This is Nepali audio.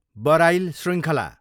बराइल शृङ्खला